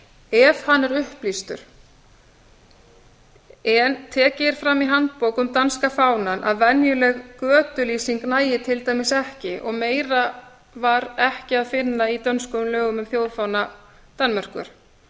ef hann er upplýstur en tekið er fram í handbók um danska fánann að venjuleg götulýsing nægi til dæmis ekki og meira var ekki að finna í dönskum lögum um þjóðfána danmerkur